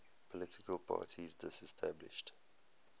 political parties disestablished